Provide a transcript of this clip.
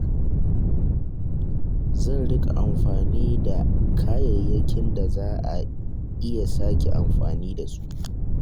Zan riƙa amfani da kayayyakin da za a iya sake amfani da su.